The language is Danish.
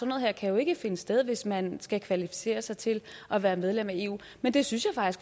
noget her kan ikke finde sted hvis man skal kvalificere sig til at være medlem af eu men det synes